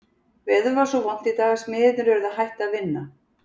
Veður var svo vont í dag að smiðirnir urðu að hætta að vinna.